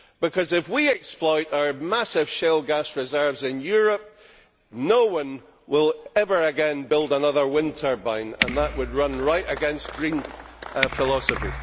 Because if we exploit our massive shale gas reserves in Europe, no one will ever again build another wind turbine and that would run right against Green philosophy.